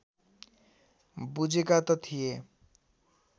बुझेका त थिए